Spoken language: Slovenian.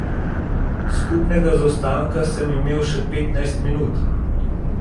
Skupnega zaostanka sem imel še petnajst minut.